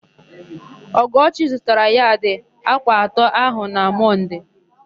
Ọgọchi zụtara yadị atọ ákwà áhụ̀ na Mọnde.